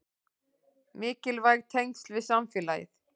Mikilvæg tengsl við samfélagið